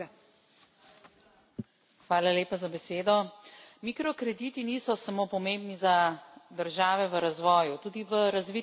Mikrokrediti niso samo pomembni za države v razvoju, tudi v razviti Evropi ključno pripomorejo k zagonu podjetij.